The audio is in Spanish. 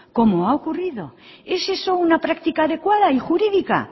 como ha ocurrido es eso una práctica adecuada y jurídica